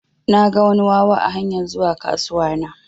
Naga wani wawa a hanyar zuwa kasuwa na.